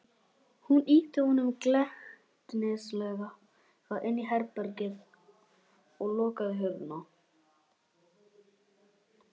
Hún ýtti honum glettnislega inn í herbergið og lokaði hurðinni.